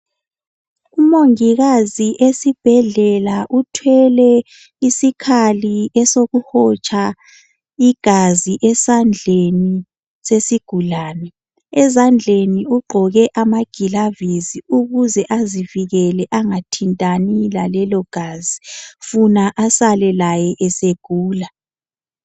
Umongikazi esibhedlela uthwele isikhali esokuhotsha igazi esandleni sesigulani. Ezandleni ugqoke amagilavusi ukuze azivikele angathinti lelo gazi, funa asale egula.